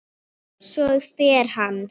Svo fer hann.